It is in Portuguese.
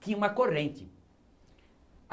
Tinha uma corrente.